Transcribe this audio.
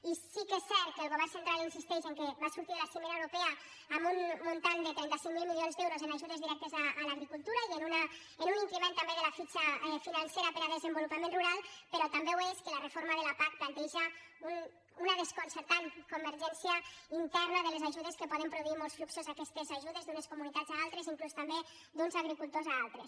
i sí que és cert que el govern cen·tral insisteix que va sortir de la cimera europea amb un import de tres cents i cinquanta miler milions d’euros en ajudes direc·tes a l’agricultura i amb un increment també de la fitxa financera per a desenvolupament rural però també ho és que la reforma de la pac planteja una desconcer·tant convergència interna de les ajudes que poden pro·duir molts fluxos aquestes ajudes d’unes comunitats a altres inclús també d’uns agricultors a altres